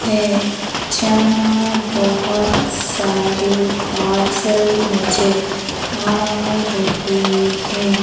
है जहां बहोत सारे पार्सल नजर आ रहे है।